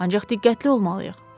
Ancaq diqqətli olmalıyıq.